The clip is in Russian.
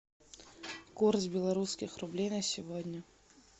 курс белорусских рублей на сегодня